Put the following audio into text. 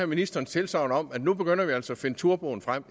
ministerens tilsagn om at nu begynder vi altså at finde turboen frem